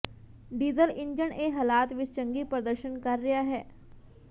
diesel engine ਇਹ ਹਾਲਾਤ ਵਿੱਚ ਚੰਗੀ ਪ੍ਰਦਰਸ਼ਨ ਕਰ ਰਿਹਾ ਹੈ